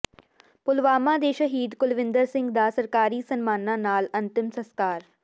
ਪੁਲਵਾਮਾ ਦੇ ਸ਼ਹੀਦ ਕੁਲਵਿੰਦਰ ਸਿੰਘ ਦਾ ਸਰਕਾਰੀ ਸਨਮਾਨਾਂ ਨਾਲ ਅੰਤਿਮ ਸਸਕਾਰ